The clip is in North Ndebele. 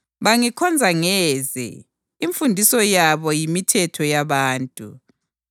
Bangikhonza ngeze; imfundiso yabo yimithetho yabantu.’ + 15.9 U-Isaya 29.13 ”